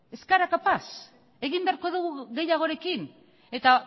ez gara kapaz egin beharko dugu gehiagorekin eta